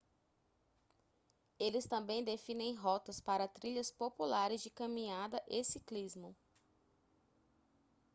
eles também definem rotas para trilhas populares de caminhada e ciclismo